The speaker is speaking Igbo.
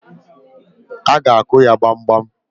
A ga-akụ ya gbamgbam.